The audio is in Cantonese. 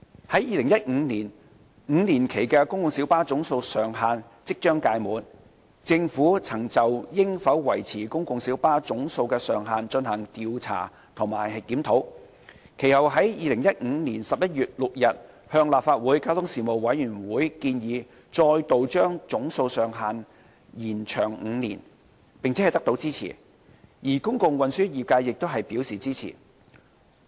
在2015年 ，5 年期的公共小巴總數上限即將屆滿，政府曾就應否維持公共小巴的總數上限進行調查及檢討，其後於2015年11月6日向立法會交通事務委員會建議，再度將總數上限延長5年，並得到支持，而公共運輸業界亦表示支持。